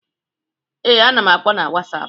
Ee, ana m akpọ n'wasapu.